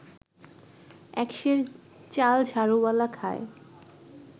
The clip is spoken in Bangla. এক সের চাল ঝাড়ুওয়ালা খায়